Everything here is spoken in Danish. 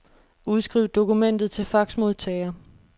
Udskriv dokumentet til faxmodtager.